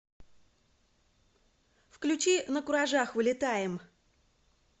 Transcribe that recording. включи накуражах улетаем